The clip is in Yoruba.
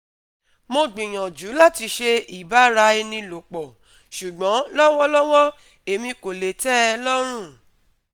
Mo gbiyanju lati ṣe iba ara eni lopo, ṣugbọn lọwọlọwọ emi ko le tẹ e lọrun